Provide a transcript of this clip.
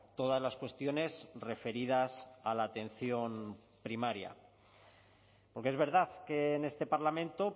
todas las cuestiones referidas a la atención primaria porque es verdad que en este parlamento